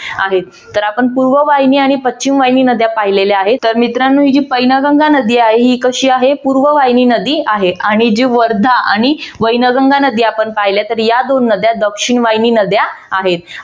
आहेत तर आपण पूर्ववाहिनी आणि पश्चिमवाहिनी नद्या पाहिलेल्या आहेत तर मित्रांनो ही पैनगंगा नदी आहे ती कशी आहे पूर्ववाहिनी नदी आहे आणि जी वर्धा आणि वैनगंगा नदी आपण पहिल्या तर या दोन नद्या दक्षिणवाहिनी नद्या आहेत.